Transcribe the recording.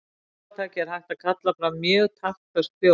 Með lófataki er hægt að kalla fram mjög taktföst hljóð.